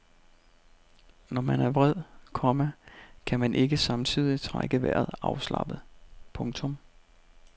Når man er vred, komma kan man ikke samtidig trække vejret afslappet. punktum